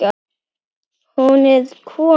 Hún er komin,